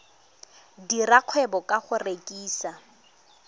dira kgwebo ka go rekisa